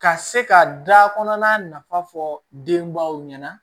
Ka se ka da kɔnɔna nafa fɔ denbaw ɲɛna